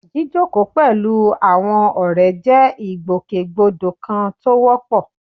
Jíjókòó pẹ̀lú àwọn ọ̀rẹ́ jẹ́ ìgbòkègbodò kan tó wọ́pọ̀